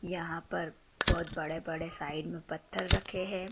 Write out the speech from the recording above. यहां पर बहोत बड़े बड़े साइड में पत्थर रखे हैं।